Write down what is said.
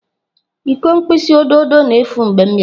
Iko mkpịsị odo odo na-efu mgbe m bịara.